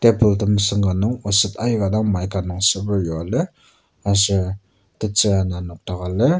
table temesüng ka nung oset aika dang mica nung seper yua lir aser tetsür ana nokdaka lir.